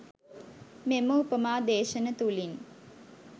මෙම උපමා දේශන තුළින්